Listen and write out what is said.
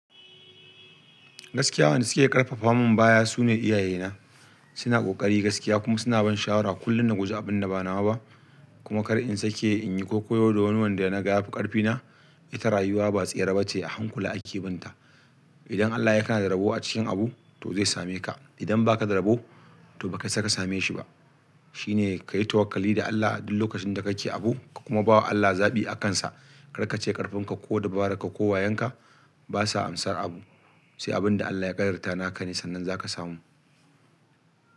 Gaskiya wanda suke karfafa man baya sune iyaye na, suna kokari gaskiya kuma suna ban shawara kullun na guji abin da ba nawa ba kuma kar in sake inyi kwaikwayo da wanda naga yafi karfi na ita rayuwa ba tsare bace, a hankula ake binta. Idan Allah ya ka da zarabo a cikin abu to zai same ka. Idan ba ka da rabo to ba ka isaka same shi ba. Shi ne ka yi tawakkali da Allah duk lokacin da kake abu ka kuma ba wa Allah zaɓi akansa. Kar ka ce ƙarfin ka ko dubara ka ko wayanka basa amsar abu. Sai abin da Allah ya ƙadarta naka ne sannan za ka samu.